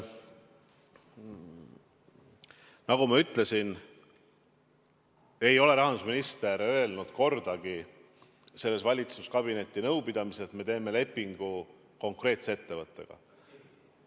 Nagu ma ütlesin, rahandusminister ei öelnud kordagi sellel valitsuskabineti nõupidamisel, et me teeme lepingu konkreetse ettevõttega.